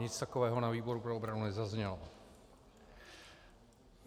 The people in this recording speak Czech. Nic takového na výboru pro obranu nezaznělo.